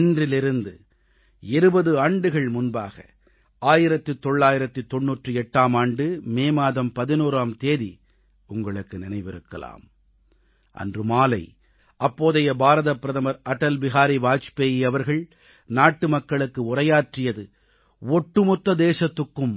இன்றிலிருந்து 20 ஆண்டுகள் முன்பாக 1998ஆம் ஆண்டு மே மாதம் 11ஆம் தேதி உங்களுக்கு நினைவிருக்கலாம் அன்று மாலை அப்போதைய பாரதப் பிரதமர் அடல் பிஹாரி வாஜ்பாய் அவர்கள் நாட்டுமக்களுக்கு உரையாற்றியது ஒட்டுமொத்த தேசத்துக்கும்